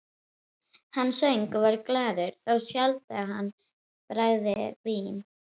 Hann söng og var glaður, þá sjaldan hann bragðaði vín.